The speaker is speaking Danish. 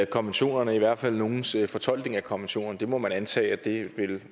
konventionerne i hvert fald nogles fortolkning af konventionerne det må man antage